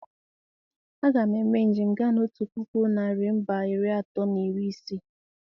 A ga m eme njem gaa na otu puku narị mbà iri atọ na iri isii.